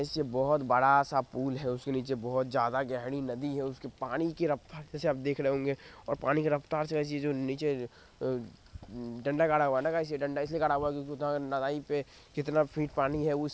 इसे बहोत बड़ा सा पुल है उसके नीचे बहोत ज्यादा गहरी नदी है इसके पानी रफ्तार जैसे आप देख रहे होंगे और पानी की रफ्तार से ऐसी चीजे नीचे अ-उ-डंडा गाड़ा हुआ हैना गाय्स डंडा इसे गाड़ा हुआ है क्युकी कितना फिट पानी है उस--